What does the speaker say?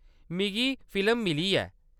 मिगी फिल्म मिली ऐ।